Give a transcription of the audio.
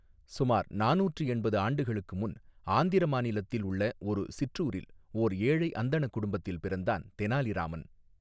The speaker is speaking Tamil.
சுமார் நானூற்று எண்பது ஆண்டுகளுக்கு முன் ஆந்திர மாநிலத்தில் உள்ள ஒரு சிற்றூரில் ஓர் ஏழை அந்தணக் குடும்பத்தில் பிறந்தான் தெனாலிராமன்.